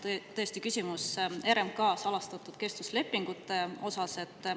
Jah, mul on tõesti küsimus RMK salastatud kestvuslepingute kohta.